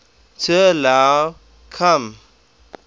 t allow come